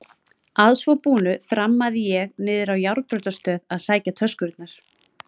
Að svo búnu þrammaði ég niðrá járnbrautarstöð að sækja töskurnar.